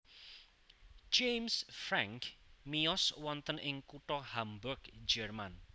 James Franck miyos wonten ing kutha Hamburg Jerman